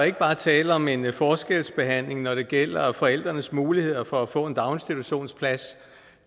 ikke bare tale om en forskelsbehandling når det gælder forældrenes muligheder for at få en daginstitutionsplads